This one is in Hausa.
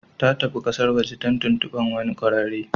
Ta tafi kasar waje don tuntubar wani kwararre.